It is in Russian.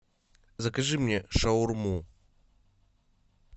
закажи мне шаурму